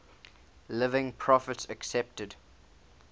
living prophets accepted